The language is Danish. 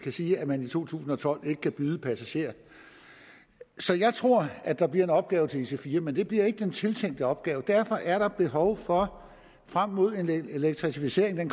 sige at man i to tusind og tolv ikke kan byde passagerer så jeg tror at der bliver en opgave til ic4 togene men det bliver ikke den tiltænkte opgave derfor er der behov for frem mod en elektrificering